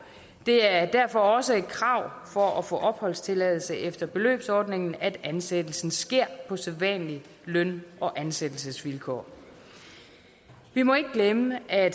det er derfor også et krav for at få opholdstilladelse efter beløbsordningen at ansættelsen sker på sædvanlige løn og ansættelsesvilkår vi må ikke glemme at